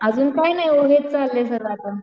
अजून काहींनाही वो हेच चाललंय सगळं आता.